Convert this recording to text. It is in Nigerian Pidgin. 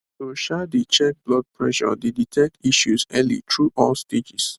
to um dey check blood pressure dey detect issues early through all stages